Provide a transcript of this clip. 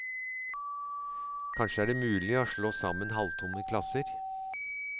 Kanskje er det mulig å slå sammen halvtomme klasser?